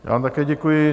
Já vám také děkuji.